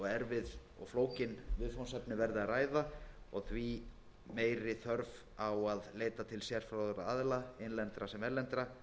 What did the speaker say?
flókin viðfangsefni verði að ræða og því meiri þörf á að leita til sérfróðra aðila innlendra sem erlendra